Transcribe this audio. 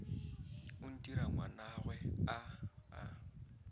o ntira ngwanagwe a a